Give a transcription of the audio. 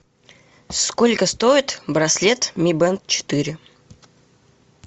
сколько стоит браслет ми бэнд четыре